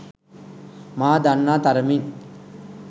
මා දන්නා තරමින්